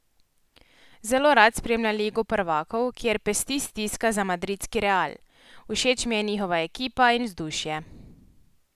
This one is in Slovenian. Zelo rad spremlja Ligo prvakov, kjer pesti stiska za madridski Real: "Všeč mi je njihova ekipa in vzdušje.